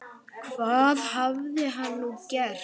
Hvað hafði hann nú gert?